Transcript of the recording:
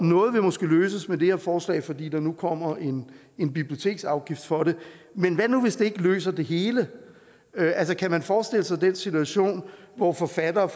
noget vil måske løses med det her forslag fordi der nu kommer en en biblioteksafgift for det men hvad nu hvis det ikke løser det hele kan man forestille sig den situation hvor forfattere